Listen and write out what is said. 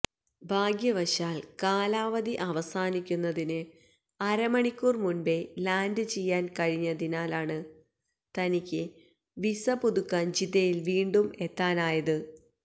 ഭാഗ്യവശാൽ കാലാവധി അവസാനിക്കുന്നതിന് അര മണിക്കൂർ മുൻപേ ലാന്റ് ചെയ്യാൻ കഴിഞ്ഞതിനാലാണ് തനിക്ക് വിസ പുതുക്കാൻ ജിദ്ദയിൽ വീണ്ടും എത്താനായത്